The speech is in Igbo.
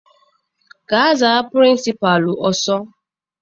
Gaa za Pịrịnsịpalụ ọsọ!